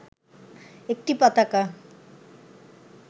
একটি পতাকা